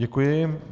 Děkuji.